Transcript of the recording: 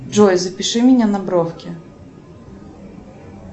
джой запиши меня на бровки